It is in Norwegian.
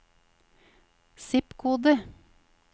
zip-kode